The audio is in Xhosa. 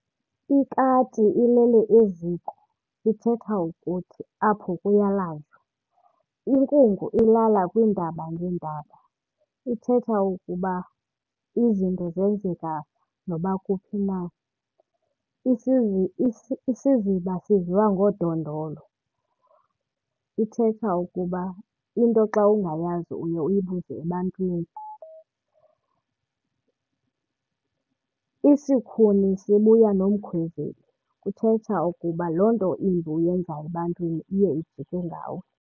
Ikati ilele eziko, ithetha ukuthi apho kuyalanjwa. Inkungu ilala kwiintaba ngeentaba, ithetha ukuba izinto zenzeka noba kuphi na. isiziba siviwa ngodondolo, ithetha ukuba into xa ungayazi uye uyibuze ebantwini. Isikhuni sibuya nomkhwezeli, kuthetha ukuba loo nto imbi uyenza ebantwini iye ijike ngawe.